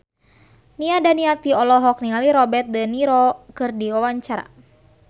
Nia Daniati olohok ningali Robert de Niro keur diwawancara